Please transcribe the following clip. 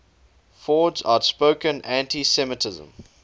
ford's outspoken anti semitism